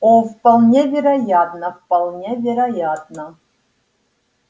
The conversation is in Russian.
о вполне вероятно вполне вероятно